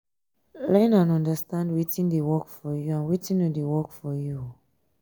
learn and understand wetin dey work for you and wetin no dey work